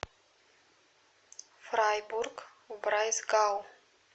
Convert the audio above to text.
фрайбург в брайсгау